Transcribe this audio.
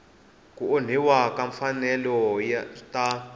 ku onhiwa ka timfanelo ta